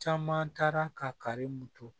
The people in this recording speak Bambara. Caman taara ka karimu to